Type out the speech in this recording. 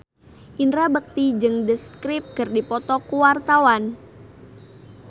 Indra Bekti jeung The Script keur dipoto ku wartawan